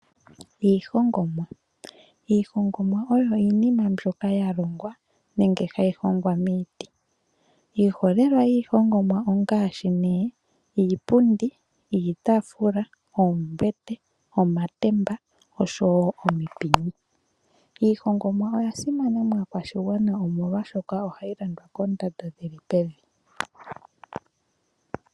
Iihongomwa oyo iinima mbyoka yalongwa nenge hayi hongwa miiti. Iiholelwa yiihongomwa ongaashi iipundi, iitaafula, oombete , omatemba oshowoo omipini. Iihongomwa oyasimana maakwashigwana molwaashoka ohayi landithwa kondando dhili pevi.